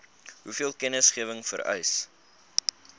hoeveel kennisgewing vereis